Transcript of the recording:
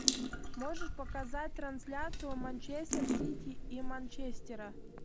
можешь показать трансляцию манчестер сити и манчестера